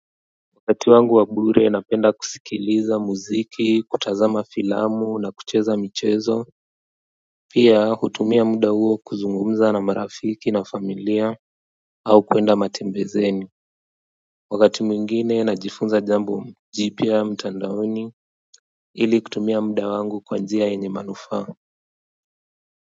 Wakati wangu wa bure napenda kusikiliza muziki, kutazama filamu na kucheza michezo, pia hutumia muda huo kuzungumza na marafiki na familia au kwenda matembezeni. Wakati mwingine najifunza jambo jipya mtandaoni ili kutumia muda wangu kwa njia yenye manufaa.